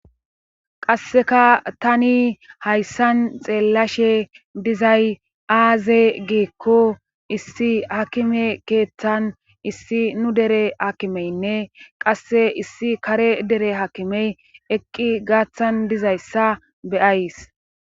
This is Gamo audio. Qassekka taani hayssan xeelashe dizay aaze giiko issi aakime keeththan issi nu dere aakimenne qasse issi kare dere aakime eqqi gaatan dizaysssa be'ays.